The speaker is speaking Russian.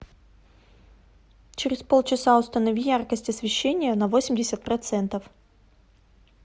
через полчаса установи яркость освещения на восемьдесят процентов